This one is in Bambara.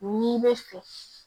N'i bɛ fɛ